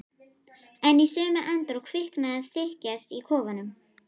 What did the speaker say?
En í sömu andrá kviknaði þykjast í kofanum.